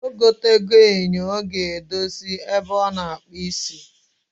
Ogo tego enyo o ga edosi ebe o na akpu isi.